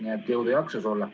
Nii et jõudu-jaksu sulle!